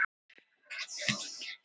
Sæll og blessaður, væni.